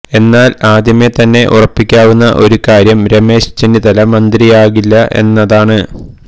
എന്നാല് ആദ്യമേ തന്നെ ഉറപ്പിക്കാവുന്ന ഒരു കാര്യം രമേശ് ചെന്നിത്തല മന്ത്രിയാകില്ല എന്നതാണ്